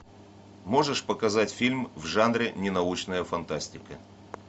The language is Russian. можешь показать фильм в жанре ненаучная фантастика